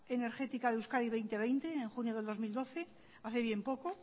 energética de euskadi dos mil veinte en junio del dos mil doce hace bien poco